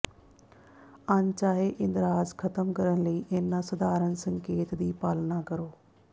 ਅਣਚਾਹੇ ਇੰਦਰਾਜ ਖਤਮ ਕਰਨ ਲਈ ਇਹਨਾਂ ਸਾਧਾਰਣ ਸੰਕੇਤ ਦੀ ਪਾਲਣਾ ਕਰੋ